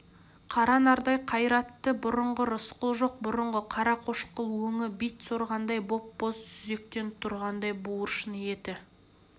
қара нардай қайратты бұрынғы рысқұл жоқ бұрынғы қарақошқыл өңі бит сорғандай боп-боз сүзектен тұрғандай буыршын еті